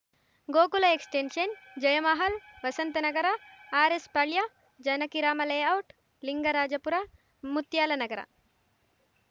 Gokul extension Jayamahal Vasanthnagar RS Palya Janakirama layout Lingarajapura Muthyalanagar